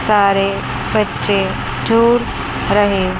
सारे बच्चे चूर रहे--